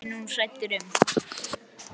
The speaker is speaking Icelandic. Já, það er ég nú hræddur um.